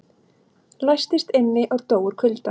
Læstist inni og dó úr kulda